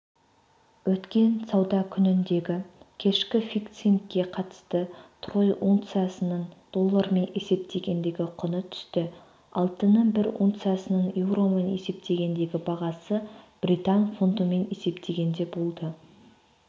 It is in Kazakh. өткен сауда күніндегікешкі фиксингке қатысты трой унциясының доллармен есептегендегі құны түсті алтынның бір унциясының еуромен есептегендегі бағасы британ фунтымен есептегенде болды